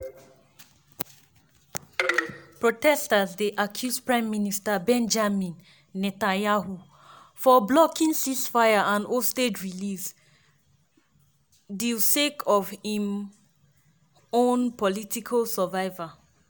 protesters dey accuse prime minister benjamin netanyahu of blocking ceasefire and hostage release deal sake of im own political survival.